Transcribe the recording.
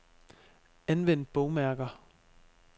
Anvend bogmærker.